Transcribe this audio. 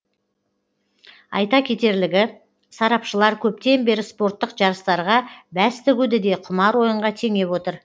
айта кетерлігі сарапшылар көптен бері спорттық жарыстарға бәс тігуді де құмар ойынға теңеп отыр